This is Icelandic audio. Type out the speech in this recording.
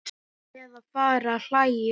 Eða fara að hlæja.